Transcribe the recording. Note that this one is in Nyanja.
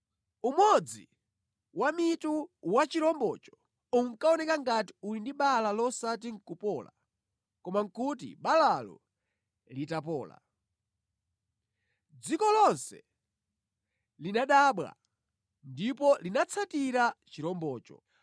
Umodzi wa mitu wa chirombocho unkaoneka ngati uli ndi bala losati nʼkupola, koma nʼkuti balalo litapola. Dziko lonse linadabwa ndipo linatsatira chirombocho.